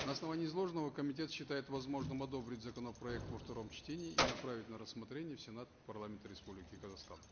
на основании изложенного комитет считает возможным одобрить законопроект во втором чтении и направить на рссмотрение в сенат парламента республики казахстан